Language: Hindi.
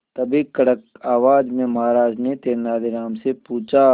तभी कड़क आवाज में महाराज ने तेनालीराम से पूछा